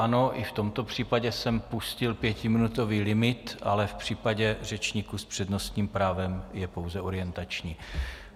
Ano, i v tomto případě jsem pustil pětiminutový limit, ale v případě řečníků s přednostním právem je pouze orientační.